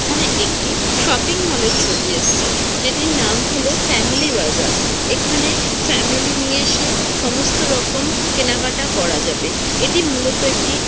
এখানে একটি shopping mall -এর ছবি এসছে যেটির নাম হলো ফ্যামিলি বাজার এখানে ফ্যামিলি নিয়ে এসে সমস্ত রকম কেনাকাটা করা যাবে এটি মূলত একটি।